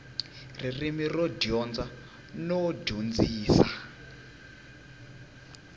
ririmi ro dyondza no dyondzisa